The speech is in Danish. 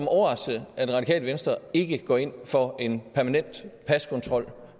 overraskelse at det radikale venstre ikke går ind for en permanent paskontrol